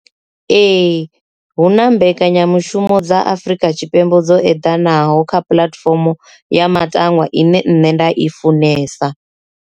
Ee, hu na mbekanyamushumo dza Afurika Tshipembe dzo eḓanaho kha puḽatifomo ya matangwa ine nṋe nda i funesa.